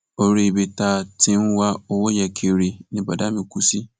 orí ibi tá a ti ń wá owó yẹn kiri ni bọdà mi kù sí